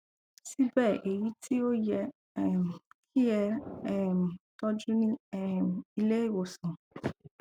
síbẹ èyí tí ó yẹ um kí e um tọjú ní um ilé ìwòsàn